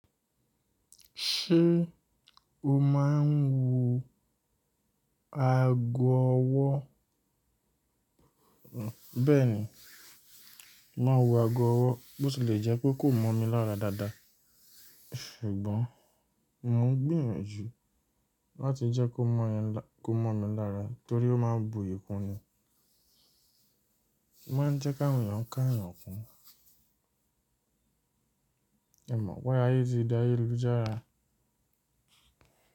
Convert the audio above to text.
Ṣé o máa ń wo agọ ọwọ́? Bẹ́ẹ̀ni, mo màá n wo agọ ọwọ́, bó tilẹ̀ jẹ́ pé kò mọ́ mi lára dáadáa. Ṣùgbọ́n mò ń gbìyànjú láti jẹ́ kó mọ̀ mi lára torí ó máa ń buyì kun ni. Ó máa ń jẹ́ ki awon eeyan káà eeyàn kún. N mọ̀ pé aye tì dáyélujara.